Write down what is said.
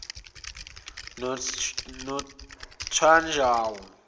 nothwanjawo